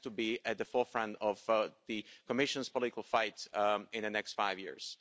this has to be at the forefront of the Commission's political fight in the next five years.